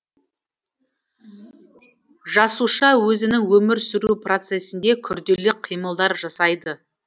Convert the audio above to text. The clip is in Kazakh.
жасуша өзінің өмір сүру процесінде күрделі қимылдар жасайды